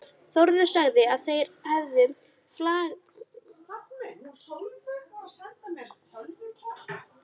Þórður sagði að þeir hefðu flaggað því á blaðamannafundi.